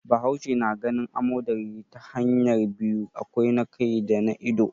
Bahaushe na ganin amodari ta hanya biyu, akwai na kai da na ido.